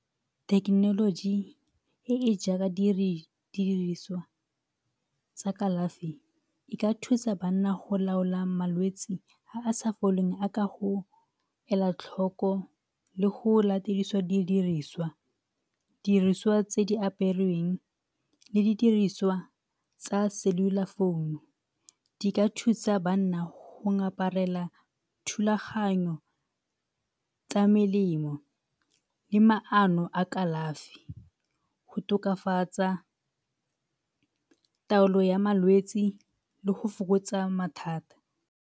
Thekenoloji e e jaaka di diriswa tsa kalafi e ka thusa banna go laolang malwetsi a a sa foleng go ela tlhoko le go latediswa di diriswa, di diriswa tse di aperweng le di diriswa tsa cellular founu di ka thusa banna go ngaparela thulaganyo tsa melemo le maano a kalafi go tokafatsa taolo ya malwetsi le go fokotsa mathata.